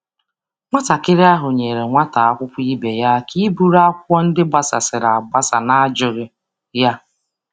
Nwa ahụ nyere nwa klas ya aka chịkọta akwụkwọ ndị gbasasịrị n’arịọghị ya.